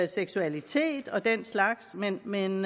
seksualitet og den slags men men